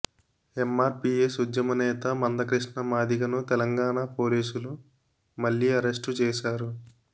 MRPS ఉద్యమ నేత మంద కృష్ణ మాదిగ ను తెలంగాణ పోలీసులు మళ్లీ అరెస్టు చేశారు